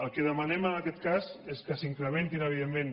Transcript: el que demanem en aquest cas és que s’incrementin evidentment